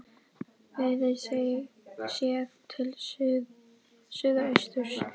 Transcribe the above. Viðey séð til suðausturs.